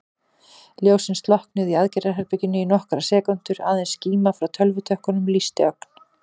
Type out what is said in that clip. Ljósin slokknuðu í aðgerðaherberginu í nokkrar sekúndur, aðeins skíma frá tölvutökkunum lýsti ögn.